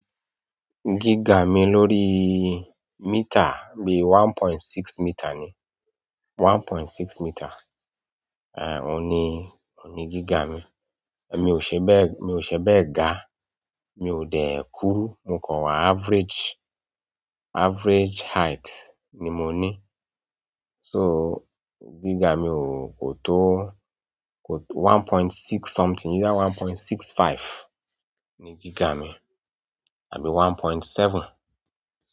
Gíga mi lórí mítà bí one point six mítà ni, one point six mítà. Èhn òun ní, òun ní gíga mi. Èmi ò ṣe bẹ́ẹ̀, èmi ò ṣe bẹ́ẹ̀ ga, mi ò dé kúru, mo kàń wá average, average height ni mo ní. So gíga mi ò kò tó kò tó one point six something, either one point six five ni gíga mi àbí one point seven.